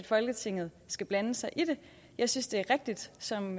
folketinget skal blande sig i det jeg synes det er rigtigt som